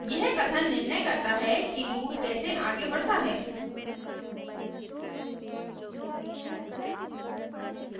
यह कथन निर्णय करता है कि loop कैसे आगे बढ़ता है